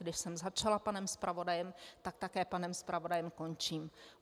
Když jsem začala panem zpravodajem, tak také panem zpravodajem končím.